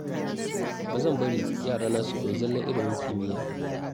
Ina so na koya wa yarana abubuwa da dama tun kafin su girma.